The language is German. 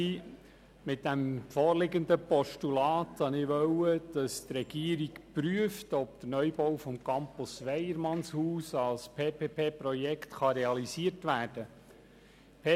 Mit dem vorliegenden Postulat wollte ich, dass die Regierung prüft, ob der Neubau des Campus Weyermannshaus als Public-Private-Partnership-Projekt (PPP-Projekt) realisiert werden kann.